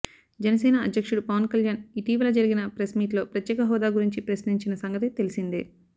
జనసేన అధ్యక్షుడు పవన్ కళ్యాణ్ ఇటీవల జరిగిన ప్రెస్ మీట్ లో ప్రత్యేక హోదా గురించి ప్రశ్నించిన సంగతి తెలిసిందే